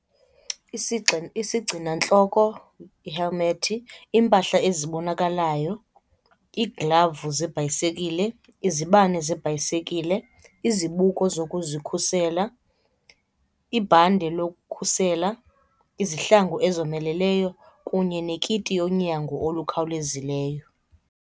Isigcinantloko, ihelimethi, iimpahla ezibonakalayo, iiglavu zebhayisekile, izibane zebhayisekile, izibuko zokuzikhusela, ibhande lokukhusela, izihlangu ezomeleleyo kunye nekiti yonyango olukhawulezileyo.